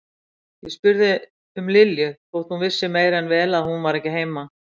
Og spurði um Lilju þótt hún vissi meira en vel að hún var ekki heima.